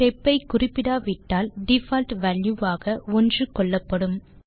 step ஐ குறிப்பிடாவிட்டால் default value ஆக 1 கொள்ளப்படும்